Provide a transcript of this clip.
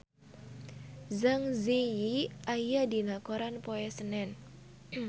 Zang Zi Yi aya dina koran poe Senen